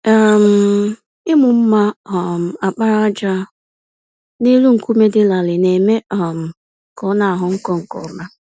um Ịmụ mma um àkpàràjà n'elu nkume dị larịị na-eme um ka ọnaghọ nkọ nke ọma.